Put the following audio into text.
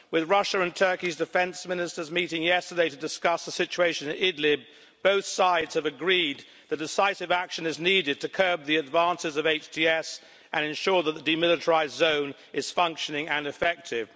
Russia's and Turkey's defence ministers met yesterday to discuss the situation in Idlib and both sides have agreed that decisive action is needed to curb the advances of HTS and ensure that the demilitarised zone is functioning and effective.